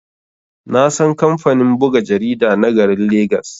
Nasan kamfanin buga jarida na garin legas.